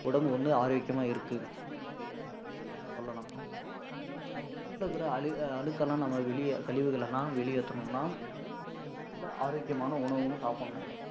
உடம்பு வந்து ஆரோக்கியமா இருக்கு அப்படியின்றது நம்ம சொல்லணும், நம்ம உடம்புல இருக்கி அழுக்கு எல்லாம் நம்ம வெளியே கழிவுகளை எல்லாம் வெளியேத்தணும்ன்னா ஒரு நல்ல ஆரோக்கியமான உணவுன்னு சாப்பிடணும்